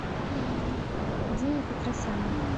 диме петросяну